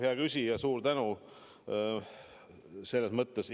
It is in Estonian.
Hea küsija, suur tänu!